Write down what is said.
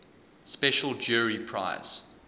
special jury prize